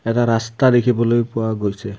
এটা ৰাস্তা দেখিবলৈ পোৱা গৈছে।